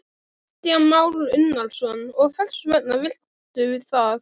Kristján Már Unnarsson: Og hvers vegna viltu það?